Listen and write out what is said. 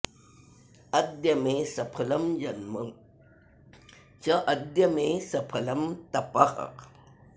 अद्य मे सफलं जन्म चाद्य मे सफलं तपः